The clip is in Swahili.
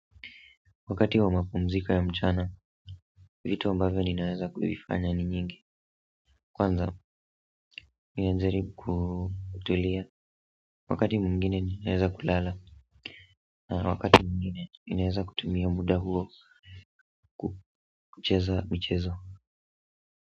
Wakati wa mapumziko ya mchana, vitu ambavyo ninaeza kuvifanya ni nyingi kwanza, ninajaribu kutulia wakati mwingine ninaeza kulala na wakati mwingine ninaeza kutumia muda huo kucheza michezo.